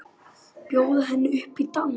Bjóða henni upp í dans!